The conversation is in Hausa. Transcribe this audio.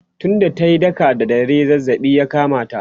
tun da tayi daka da dare zazzabi ya kamata